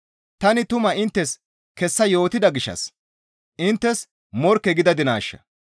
Tani tumaa inttes kessa yootida gishshas inttes morkke gidadinaasha?